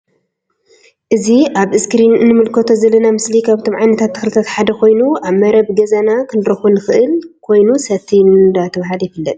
እዚ አብ እስክሪን እንምልከቶ ዘለና ምስሊ ካብቶም ዓይነታት ተክልታት ሓደ ኮይኑ አብ መረባ ገዛና ክንረክቦ ንክእል ኮይኑ ሰቲ እንዳተብሃለ ይፍለጥ::